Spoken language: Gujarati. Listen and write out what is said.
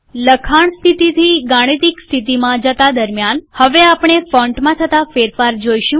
લખાણ સ્થિતિથી ગાણિતિક સ્થિતિમાં જતા દરમ્યાન હવે આપણે ફોન્ટમાં થતા ફેરફાર જોઈશું